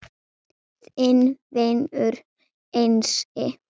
Þinn vinur Einsi